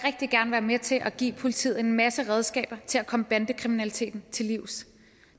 rigtig gerne være med til at give politiet en masse redskaber til at komme bandekriminaliteten til livs